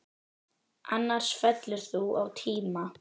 Annars fellur þú á tíma.